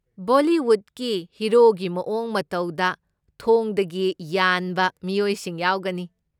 ꯕꯣꯂꯤꯋꯨꯗꯀꯤ ꯍꯤꯔꯣꯒꯤ ꯃꯑꯣꯡ ꯃꯇꯧꯗ ꯊꯣꯡꯗꯒꯤ ꯌꯥꯟꯕ ꯃꯤꯑꯣꯏꯁꯤꯡ ꯌꯥꯎꯒꯅꯤ꯫